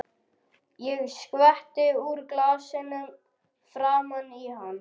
Ég skvetti úr glasinu framan í hann.